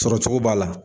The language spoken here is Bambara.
Sɔrɔcogo b'a la